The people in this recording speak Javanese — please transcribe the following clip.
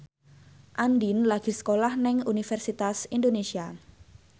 Andien lagi sekolah nang Universitas Indonesia